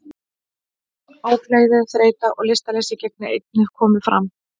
Ógleði, þreyta og lystarleysi geta einnig komið fram.